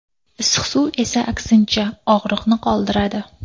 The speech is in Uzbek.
Issiq suv esa aksincha, og‘riqni qoldiradi.